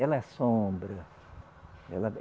Ela assombra. Ela